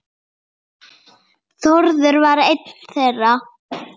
Þórður var einn þeirra.